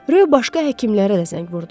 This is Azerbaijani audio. Röy başqa həkimlərə də zəng vurdu.